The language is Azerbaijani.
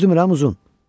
Düzdürmü, Uzun?